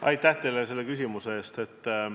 Aitäh teile selle küsimuse eest!